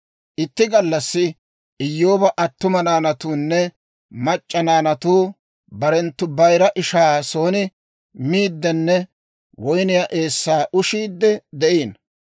Itti gallassi Iyyooba attuma naanatuunne mac'c'a naanatuu barenttu bayira ishaa son miiddenne woyniyaa eessaa ushiidde de'iino.